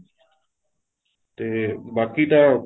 ਤੇ ਬਾਕੀ ਤਾਂ